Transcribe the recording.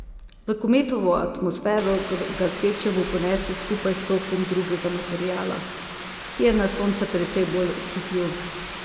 V kometovo atmosfero ga kvečjemu ponese skupaj s tokom drugega materiala, ki je na Sonce precej bolj občutljiv.